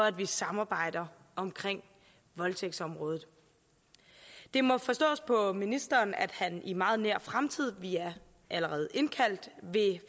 at vi samarbejder omkring voldtægtsområdet det må forstås på ministeren at han i meget nær fremtid vi er allerede indkaldt vil